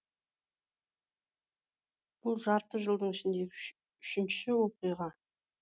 бұл жарты жылдың ішіндегі үшінші оқиға